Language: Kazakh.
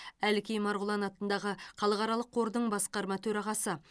әлкей марғұлан атындағы халықаралық қордың басқарма төрағасы